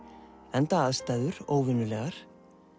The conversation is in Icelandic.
enda aðstæður óvenjulegar